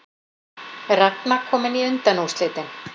Ragna komin í undanúrslitin